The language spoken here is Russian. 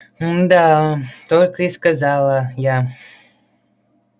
мда только и сказала я